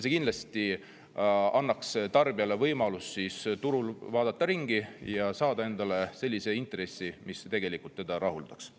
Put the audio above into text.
See kindlasti annaks tarbijale võimaluse turul ringi vaadata ja ehk saada sellise intressi, mis teda rahuldaks.